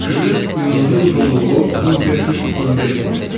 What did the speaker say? Kürün ümumi uzunluğu 1515 kmdir.